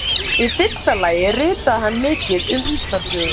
Í fyrsta lagi ritaði hann mikið um Íslandssögu.